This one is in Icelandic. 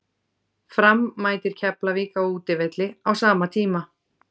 Fram mætir Keflavík á útivelli á sama tíma.